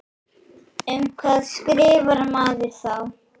Um hvað skrifar maður þá?